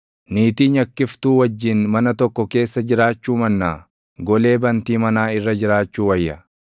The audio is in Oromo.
Niitii nyakkiftuu wajjin mana tokko keessa jiraachuu mannaa, golee bantii manaa irra jiraachuu wayya.